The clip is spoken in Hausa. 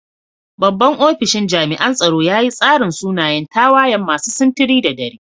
Babban ofisan jami'an tsaro ya yi tsarin sunayen tawayan masu sintiri da dare.